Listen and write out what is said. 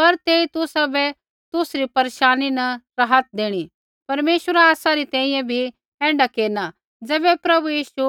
पर तेई तुसाबै तुसरी परेशानी न राहत देणी परमेश्वरा आसा री तैंईंयैं भी ऐण्ढा केरना ज़ैबै प्रभु यीशु